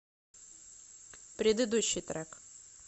предыдущий трек